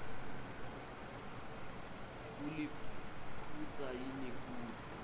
kuliphutsa yini kutsi